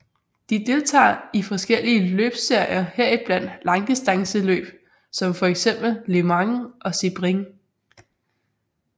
De deltager i forskellige løbsserier heriblandt langdistanceløb som for eksempel Le Mans og Sebring